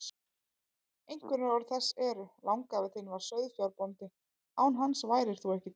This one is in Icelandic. Einkunnarorð þess eru: Langafi þinn var sauðfjárbóndi, án hans værir þú ekki til.